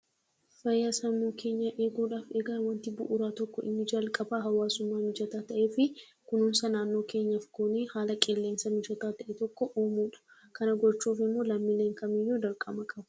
Fayyaa sammuu keenyaa eeguudhaf egaa waanti bu'uuraa tokko inni jalqabaa hawwaasummaan hojjeta ta'eefii kunuunsa naannoo keenyaaf goonee haala qilleensa mijataa ta'e tokko uumuudha. Kana gochuuf immoo lammiileen kam iyyuu dirqama qabu.